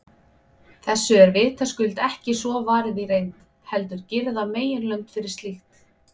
Þessu er vitaskuld ekki svo varið í reynd, heldur girða meginlönd fyrir slíkt.